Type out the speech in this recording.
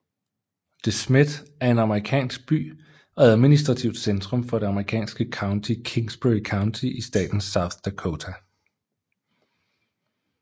De Smet er en amerikansk by og administrativt centrum for det amerikanske county Kingsbury County i staten South Dakota